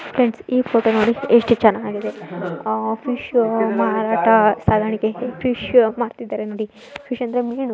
Friends ಈ photo ನೋಡಿ ಎಷ್ಟು ಚೆನ್ನಾಗಿದೆ ಫಿಶ್ ಮಾರಾಟ ಸಾಗಾಣಿಕೆ ಫಿಶ್ ಮಾರುತ್ತಿದ್ದಾರೆ ನೋಡಿ. ಫಿಶ್ ಅಂದ್ರೆ ಮೀನು.